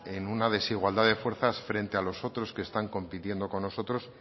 en una desigualdad de fuerzas frente a los otros que están compitiendo con nosotros